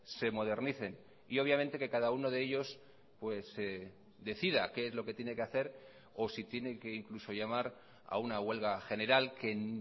se modernicen y obviamente que cada uno de ellos decida qué es lo que tiene que hacer o si tiene que incluso llamar a una huelga general que en